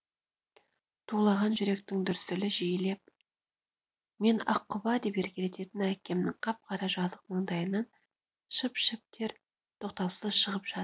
тулаған жүректің дүрсілі жиілеп мен аққұба деп еркелететін әкемнің қап қара жазық маңдайынан шып шып тер тоқтаусыз шығып жатыр